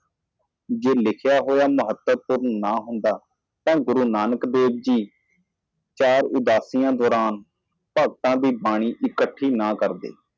ਜੇ ਲਿਖਣ ਨਾਲ ਕੋਈ ਫਰਕ ਨਹੀਂ ਪੈਂਦਾ ਸੋ ਗੁਰੂ ਨਾਨਕ ਦੇਵ ਜੀ ਚਾਰ ਬਲੂਜ਼ ਦੌਰਾਨ ਭਗਤਾਂ ਦੀ ਆਦਤ ਨਾ ਇਕੱਠੀ ਕਰੋ